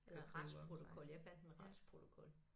Retsprotokol jeg fandt en retsprotokol